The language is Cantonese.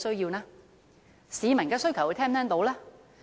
又能否聽到市民的需求呢？